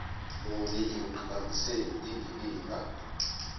muni ekuqhakambiseni indikimba